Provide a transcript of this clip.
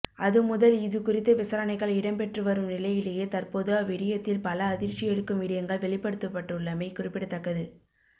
அது முதல் இது குரித்த விசாரணைகள் இடம்பெற்று வரும் நிலையிலேயே தற்போது அவ்விடயத்தில் பல அதிர்ச்சியளிக்கும் விடயங்கள் வெளிபப்டுத்தப்பட்டுள்ளமை குறிப்பிடத்தக்கது